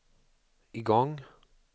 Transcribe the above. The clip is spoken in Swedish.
igång